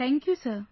Thank you sir